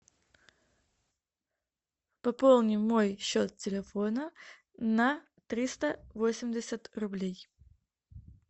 пополни мой счет телефона на триста восемьдесят рублей